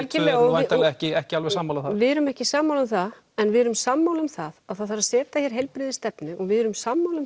væntanlega ekki ekki alveg sammála þar við erum ekki sammála um það en við erum sammála um það að það þarf að setja hér heilbrigðisstefnu og við erum sammála um